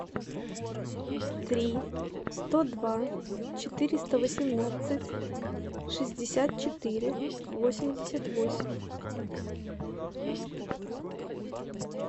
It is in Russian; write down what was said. три сто два четыреста восемнадцать шестьдесят четыре восемьдесят восемь